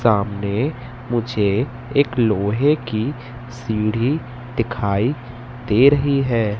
सामने मुझे एक लोहे की सीढ़ी दिखाई दे रही है।